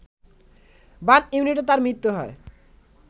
burn ইউনিটে তার মৃত্যু হয়